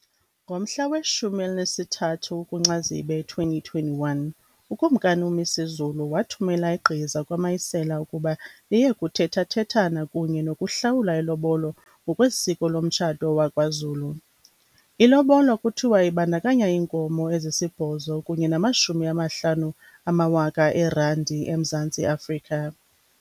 Ngomhla weshumi elinesithathu kuCanzibe 2021, uKumkani uMisuzulu wathumela igqiza kwaMayisela ukuba liye kuthethathethana kunye nokuhlawula ilobolo ngokwesiko lomtshato wakwaZulu. Ilobola kuthiwa ibandakanya iinkomo ezisibhozo kunye namashumi amahlanu amawaka eerandi eMzantsi Afrika.